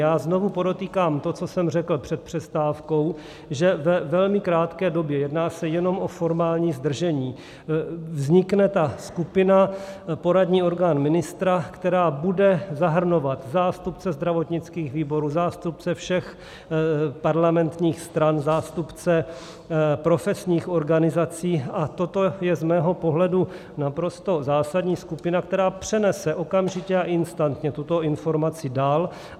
Já znovu podotýkám to, co jsem řekl před přestávkou, že ve velmi krátké době, jedná se jenom o formální zdržení, vznikne ta skupina, poradní orgán ministra, která bude zahrnovat zástupce zdravotnických výborů, zástupce všech parlamentních stran, zástupce profesních organizací, a toto je z mého pohledu naprosto zásadní, skupina, která přenese okamžitě a instantně tuto informaci dál.